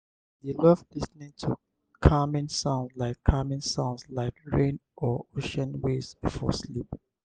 i dey love lis ten ing to calming sounds like calming sounds like rain or ocean waves before sleep.